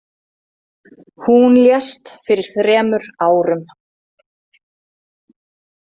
Hún lést fyrir þremur árum.